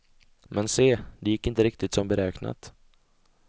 Men se, det gick inte riktigt som beräknat.